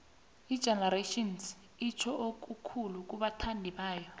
igenerations itjho okukhulu kubathandibayo